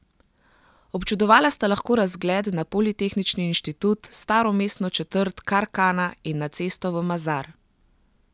Občudovala sta lahko razgled na politehnični inštitut, staro mestno četrt Kar Kana in na cesto v Mazar.